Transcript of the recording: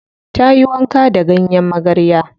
Ta yi wanka da ganyen magarya.